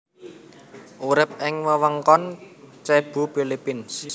Urip ing wewengkon Cebu Philippines